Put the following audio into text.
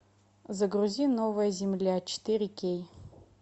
загрузи новая земля четыре кей